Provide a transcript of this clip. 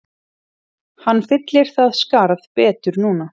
Hann fyllir það skarð betur núna